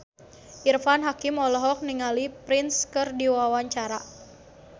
Irfan Hakim olohok ningali Prince keur diwawancara